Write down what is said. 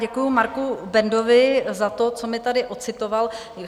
Děkuji Marku Bendovi za to, co mi tady ocitoval.